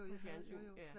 På fjernsyn